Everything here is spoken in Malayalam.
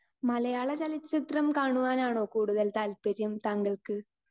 സ്പീക്കർ 2 മലയാളചലച്ചിത്രം കാണുവാൻ ആണോ കൂടുതൽ താല്പര്യം താങ്കൾക്ക്?